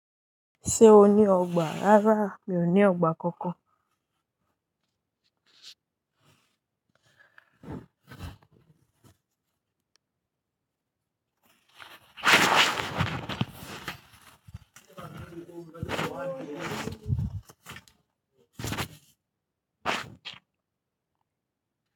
Ṣé o ní ọgbà? Rárá, mi ò ní ọgbà kankan.